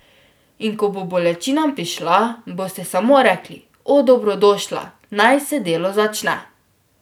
In ko bo bolečina prišla, boste samo rekli, o, dobrodošla, naj se delo začne.